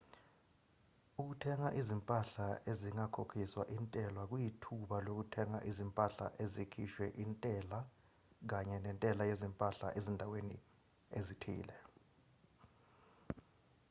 ukuthenga izimpahla ezingakhokhiswa intela kuyithuba lokuthenga izimpahla ezikhishwe izintela kanye nentela yezimpahla ezindaweni ezithile